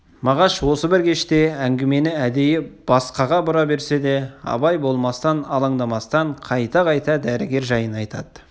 мағаш осы бір кеште әңгімені әдейі басқаға бура берсе де абай болмастан алаңдамастан қайта-қайта дәрігер жайын айтады